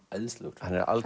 æðislegur